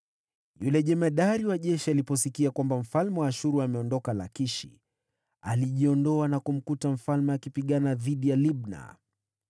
Jemadari wa jeshi aliposikia kwamba mfalme wa Ashuru ameondoka Lakishi, alirudi, akamkuta mfalme akipigana na Libna.